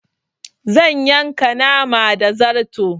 Zan yanka nama da zarto